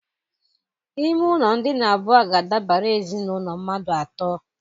Ime ụlọ ndina abụọ ga-adabara ezinaụlọ mmadụ atọ.